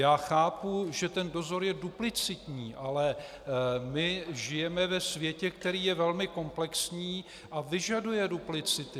Já chápu, že ten dozor je duplicitní, ale my žijeme ve světě, který je velmi komplexní a vyžaduje duplicity.